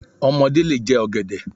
Ọmọdé lè jẹ ọ̀gẹ̀dẹ̀.